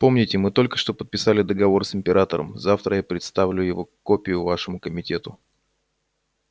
помните мы только что подписали договор с императором завтра я предоставлю его копию вашему комитету